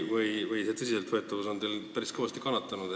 Teie tõsiseltvõetavus on päris kõvasti kannatada saanud.